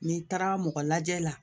N'i taara mɔgɔ lajɛ la